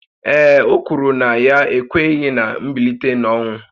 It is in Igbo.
Ee e, o kwuru na ya ekweghị ná mbilite n’ọnwụ